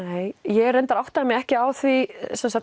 nei ég áttaði mig ekki á því